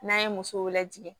N'an ye musow lajɛ